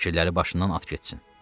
Bu fikirləri başından at getsin.